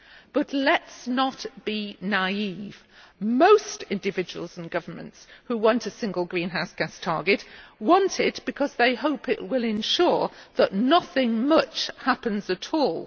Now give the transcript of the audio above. But let us not be naive, most individuals and governments who want a single greenhouse gas target want it because they hope it will ensure that nothing much happens at all.